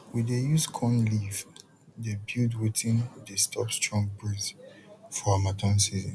we dey use corn leave de build wetin de stop strong breeze for hamattan season